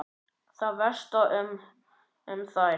Það væsti ekki um þær.